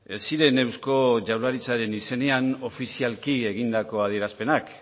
ez ziren eusko jaurlaritzaren izenean ofizialki egindako adierazpenak